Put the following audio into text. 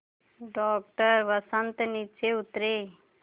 doctor Vasant नीचे उतरे